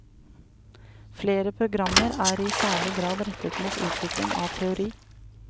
Flere programmer er i særlig grad rettet mot utvikling av teori.